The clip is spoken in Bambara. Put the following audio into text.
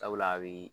Sabula a bi